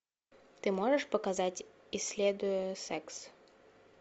ты можешь показать исследуя секс